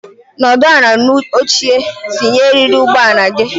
Nọdụ ala n'oche tinye eriri ụgbọelu gị!